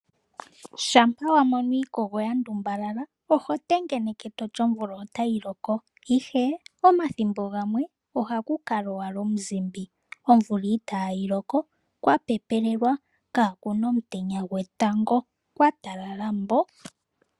Shampa wa mono iikogo ya ndumbalala oho tengeneke toti omvula otayi loko, ihe omathimbo gamwe oha ku kala owala omuzimbi, omvula itaa yi loko, kwa pepelelwa kaakuna omutenya gwetango, kwa talala mbo.